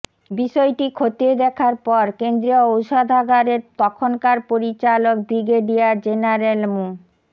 বিষয়টি খতিয়ে দেখার পর কেন্দ্রীয় ঔষধাগারের তখনকার পরিচালক ব্রিগেডিয়ার জেনারেল মো